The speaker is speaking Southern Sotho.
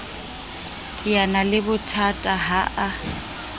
teana le bothata ha a